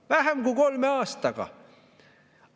Vähem kui kolme aastaga!